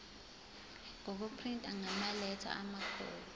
ngokuprinta ngamaletha amakhulu